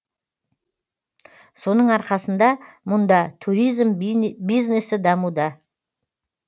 соның арқасында мұнда туризм бизнесі дамуда